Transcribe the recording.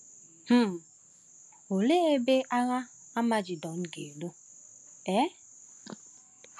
um Òlee ebe Agha Amagedọn ga-alụ? um